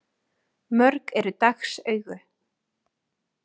Mörg eru dags augu.